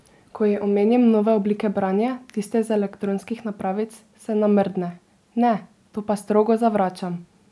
Ko ji omenim nove oblike branja, tiste z elektronskih napravic, se namrdne: "Ne, to pa strogo zavračam!